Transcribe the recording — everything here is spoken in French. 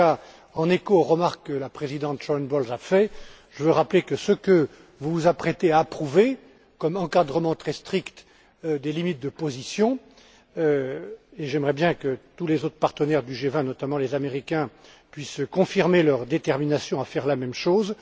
En tout cas, en écho aux remarques que la présidente Sharon Bowles a faites, je veux rappeler que les propositions que vous vous apprêtez à approuver comme encadrement très strict des limites de positions et j'aimerais bien que tous les autres partenaires du G20, notamment les Américains, puissent confirmer leur détermination à faire la même chose